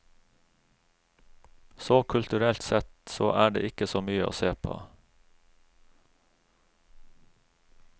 Så kulturelt sett så er det ikke så mye å se på.